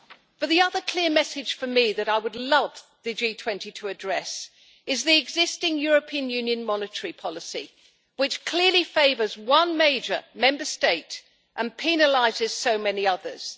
But the other clear message for me that I would love the G20 to address is the existing European Union monetary policy, which clearly favours one major Member State and penalises so many others.